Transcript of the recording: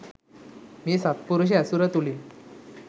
මේ සත්පුරුෂ ඇසුර තුළින්